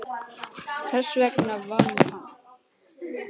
Þess vegna vann hann.